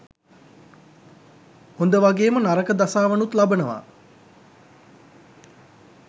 හොඳ වගේම නරක දසාවනුත් ලබනවා.